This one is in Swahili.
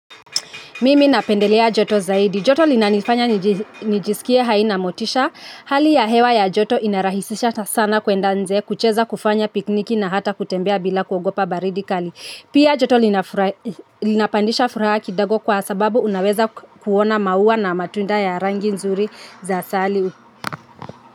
Mimi napendelea joto zaidi. Joto linanifanya nijisikie hai na motisha. Hali ya hewa ya joto inarahisisha sana kuenda nje, kucheza kufanya pikniki na hata kutembea bila kuogopa baridi kali. Pia joto linapandisha furaha kidogo kwa sababu unaweza kuona maua na matunda ya rangi nzuri za asali.